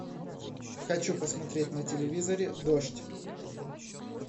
хочу посмотреть на телевизоре дождь